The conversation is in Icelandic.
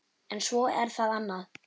En svo er það annað.